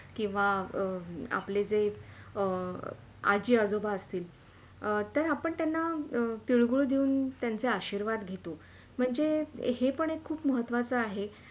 किव्हा आपले जे अ आजी - आजोबा असतील तर आपण त्यांना तिळगूळ देऊन त्यांचे आशीर्वाद घेतो म्हणजे हे पण एक खूप महत्वाच आहे.